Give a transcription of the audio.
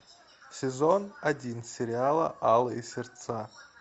сезон один сериала алые сердца